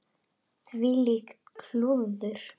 Þvílíkt klúður.